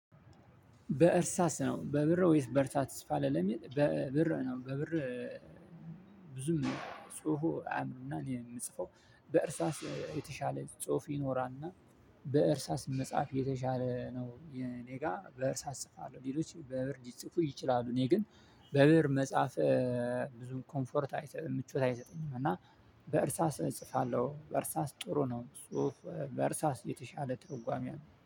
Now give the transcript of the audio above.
በእርሳስ ነው በብእር ወይስ በእርሳስ ትጽፋለህ? ለሚል በብእር ነው በብእር ብዙም ጽሁፉ አያምርም። እና እኔ የምጽፈው በእርሳስ የተሻለ ጽሁፍ ይኖራልና። በእርሳስ መጽሐፍ የተሻለ ነው። እኔ ጋር በእርሳስ እጽፋለሁ ሌሎች በብእር ሊፅፉ ይችላሉ። እኔ ግን በብእር መጻፍ ብዙም ኮንፈርት አይሰጥም ምቾት አይሰሰጠኝም። እና በእርሳስ እጽፋለሁ በእርሳስ ጥሩ ነው። ጽሁፍ በእርሳስ የተሻለ ትርጓሜ አለው